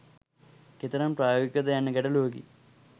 කෙතරම් ප්‍රායෝගික ද යන්න ගැටලුවකි.